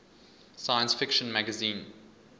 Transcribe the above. science fiction magazine